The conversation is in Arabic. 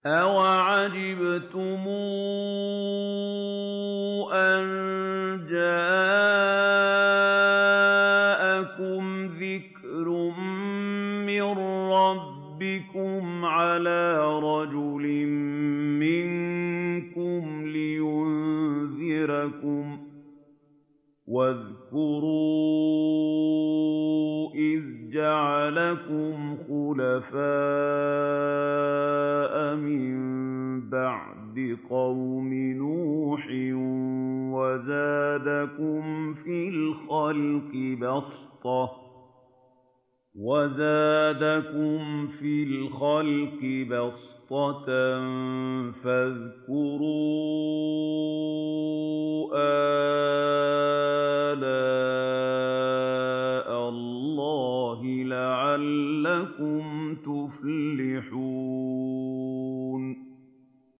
أَوَعَجِبْتُمْ أَن جَاءَكُمْ ذِكْرٌ مِّن رَّبِّكُمْ عَلَىٰ رَجُلٍ مِّنكُمْ لِيُنذِرَكُمْ ۚ وَاذْكُرُوا إِذْ جَعَلَكُمْ خُلَفَاءَ مِن بَعْدِ قَوْمِ نُوحٍ وَزَادَكُمْ فِي الْخَلْقِ بَسْطَةً ۖ فَاذْكُرُوا آلَاءَ اللَّهِ لَعَلَّكُمْ تُفْلِحُونَ